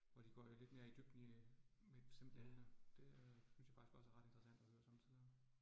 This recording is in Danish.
Hvor de går lidt mere i dybden i øh med simple emner. Det øh synes jeg faktisk også er ret interessant at høre somme tider